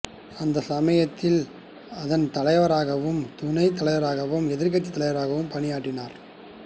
அந்த சமயத்தில் அதன் தலைவராகவும் துணை தலைவரராகவும் எதிர்க்கட்சி தலைவராகவும் பணியாற்றினார்